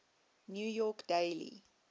new york daily